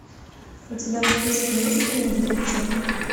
у тебя в списке есть фильм дефицит